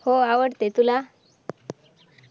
हो आवडते तुला